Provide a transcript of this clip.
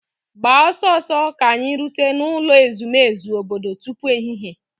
Gbaa ọsọ ọsọ ka anyị rute n'ụlọ ezumezu obodo tupu ehihie!.